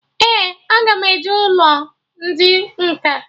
Ee, aga m eje ụlọ ndị nkà